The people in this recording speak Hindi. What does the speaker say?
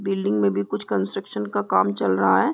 बिल्डिंग मे भी कुछ कंस्ट्रक्शन का काम चल रहा है।